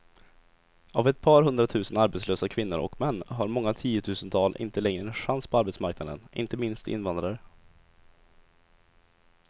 Av ett par hundratusen arbetslösa kvinnor och män har många tiotusental inte längre en chans på arbetsmarknaden, inte minst invandrare.